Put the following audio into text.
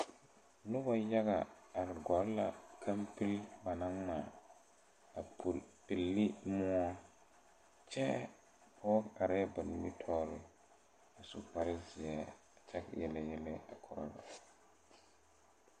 Nobɔ yaga are gɔlle la kampile ba naŋ ngmaa a puli pilli moɔ kyɛɛ pɔɔ arɛɛ ba nimitooreŋ a su kparezeɛ kyɛ yele yɛlɛ a korɔ ba.